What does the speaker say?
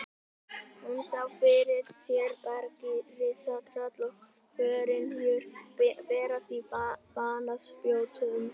Hún sá fyrir sér bergrisa, tröll og forynjur berast á banaspjótum.